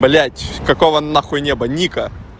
блять какого нахуй неба ника